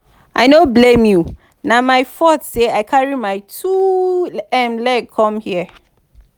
i no blame you na my fault say i carry my two um legs come here